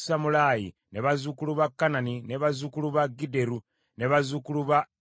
bazzukulu ba Kanani, bazzukulu ba Gidderi, bazzukulu ba Gakali,